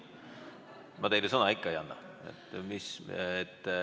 Ma teile sõna ikka ei anna.